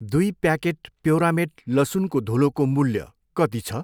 दुई प्याकेट प्योरामेट लसुनको धुलोको मूल्य कति छ?